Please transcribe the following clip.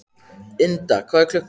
Ynda, hvað er klukkan?